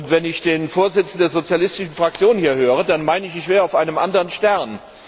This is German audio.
Wenn ich den Vorsitzenden der sozialistischen Fraktion hier höre, dann meine ich, ich wäre auf einem anderen Stern!